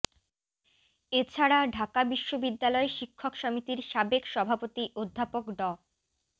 এ ছাড়া ঢাকা বিশ্ববিদ্যালয় শিক্ষক সমিতির সাবেক সভাপতি অধ্যাপক ড